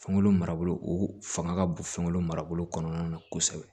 Fɛnko marabolo o fanga ka bon fɛn kolo marabolo kɔnɔna na kosɛbɛ